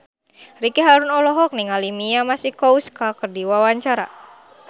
Ricky Harun olohok ningali Mia Masikowska keur diwawancara